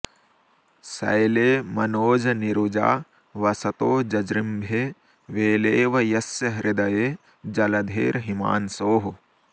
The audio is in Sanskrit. शैले मनोजनिरुजा वसतो जजृम्भे वेलेव यस्य हृदये जलधेर्हिमांशोः